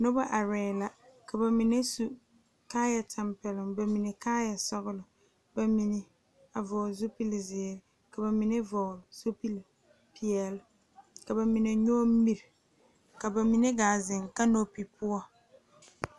Noba are la ka bamine su kaaya tanpɛloŋ bamine kaaya sɔglɔ bamine a vɔgle zupele ziiri ka bamine vɔgle zupele peɛle ka bamine nyoŋ mire ka bamine gaa zeŋ kanopi poɔ.